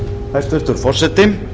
hæstvirtur forseti